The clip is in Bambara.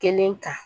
Kelen kan